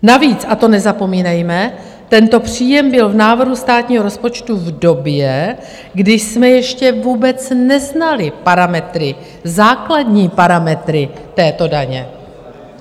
Navíc, a to nezapomínejme, tento příjem byl v návrhu státního rozpočtu v době, kdy jsme ještě vůbec neznali parametry, základní parametry této daně.